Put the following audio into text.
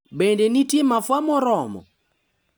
Bende nitie mafua moromo?